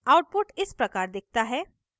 output इस प्रकार दिखता है